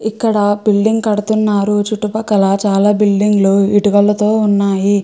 ఇక్కడ బిల్డింగ్ కడుతున్నారు చుట్టుపక్కల చాల బిల్డింగ్ లు ఇటుకలతో ఉన్నాయి.